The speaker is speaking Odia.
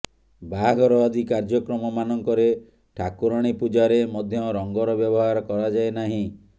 ବାହାଘର ଆଦି କାର୍ଯ୍ୟକ୍ରମ ମାନଙ୍କରେ ଠାକୁରାଣୀ ପୂଜାରେ ମଧ୍ୟ ରଙ୍ଗର ବ୍ୟବହାର କରାଯାଏ ନାହିଁ